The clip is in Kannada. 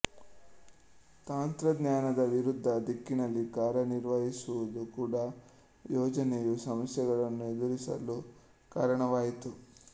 ತಂತ್ರಜ್ಞಾನದ ವಿರುದ್ಧ ದಿಕ್ಕಿನಲ್ಲಿ ಕಾರ್ಯನಿರ್ವಹಿಸುವುದು ಕೂಡಾ ಯೋಜನೆಯು ಸಮಸ್ಯೆಗಳನ್ನು ಎದುರಿಸಲು ಕಾರಣವಾಯಿತು